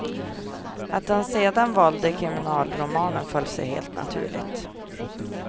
Att han sedan valde kriminalromanen föll sig helt naturligt.